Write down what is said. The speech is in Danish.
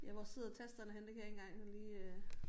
Ja hvor sidder tasterne henne det kan jeg ikke engang sådan lige øh